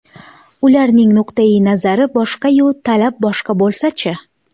Ularning nuqtai nazari boshqa-yu, talab boshqa bo‘lsa-chi?